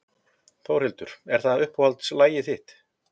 Þórhildur: Er það uppáhaldslagið þitt?